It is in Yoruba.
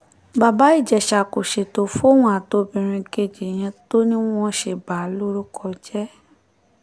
bàbá ìjẹsà kò ṣètò fóun àtobìnrin kejì yẹn tó ní wọ́n ṣe bà á lórúkọ jẹ́